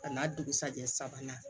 A n'a dugusajɛ sabanan